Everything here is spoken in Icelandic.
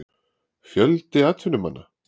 Fjöldi atvinnumanna?